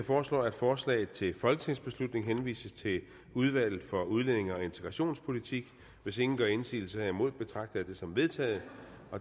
foreslår at forslaget til folketingsbeslutning henvises til udvalget for udlændinge og integrationspolitik hvis ingen gør indsigelse betragter jeg dette som vedtaget